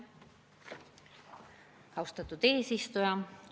Austatud eesistuja!